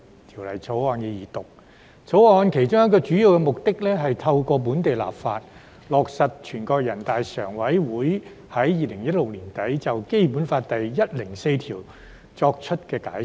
《條例草案》其中一個主要目的，是透過本地立法，落實全國人民代表大會常務委員會在2016年年底，就《基本法》第一百零四條作出的解釋。